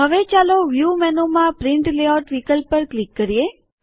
હવે ચાલો વ્યુ મેનુમાં પ્રિન્ટ લેઆઉટ વિકલ્પ પર ક્લિક કરીએ